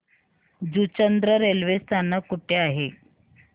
Juchandra railway स्थानक कुठे आहे